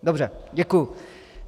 Dobře, děkuji.